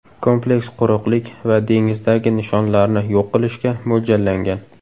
Kompleks quruqlik va dengizdagi nishonlarni yo‘q qilishga mo‘ljallangan.